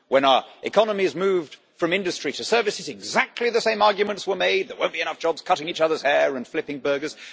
when the economy was moved from industry to service, exactly the same arguments were made that there wouldn't be enough jobs cutting each other's hair and flipping burgers.